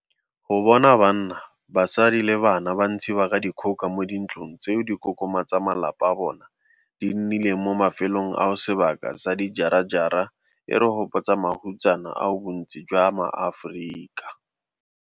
Go bona banna, basadi le bana ba ntshiwa ka dikgoka mo dintlong tseo dikokoma tsa malapa a bona di nnileng mo mafelong ao sebaka sa dijarajara e re gopotsa mahutsana ao bontsi jwa maAforika.